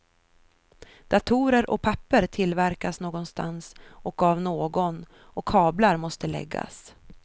Datorer och papper tillverkas någonstans och av någon och kablar måste läggas.